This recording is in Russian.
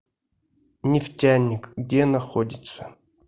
нефтяник где находится